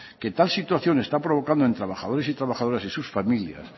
que tal situación está provocando en trabajadores y trabajadoras y sus familias